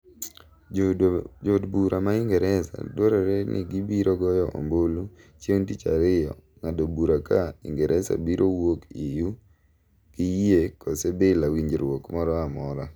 Jo od bura ma ingresa dwarore ni gibiro goyo ombulu chieng' tich ariyo ng'ado bura ka ingresa biro wuok EU gi yie kose bila winjruok mora mora